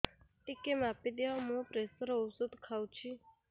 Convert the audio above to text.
ଟିକେ ମାପିଦିଅ ମୁଁ ପ୍ରେସର ଔଷଧ ଖାଉଚି